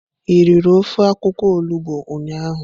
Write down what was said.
I riri ofe akwukwo olugbo ụnyahụ.